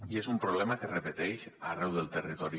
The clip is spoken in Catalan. i és un problema que es repeteix arreu del territori